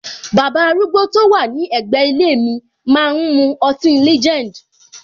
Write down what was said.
Baba arúgbó to wà ní ègbé ilé mi máa ń mu ọtí legend.